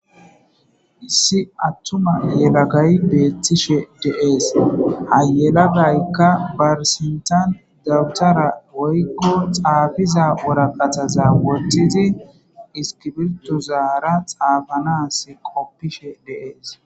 issi attuma yelagay beethtishe deees hayelagaykka barisintan dawutara woykko xaafiza woraqataza woththidi iskibirtu zaara xaafanas qoppishe deees